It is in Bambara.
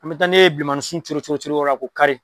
An bɛ taa n'e ye bilenmaninsun cori cori cori yɔrɔ la k'o kari.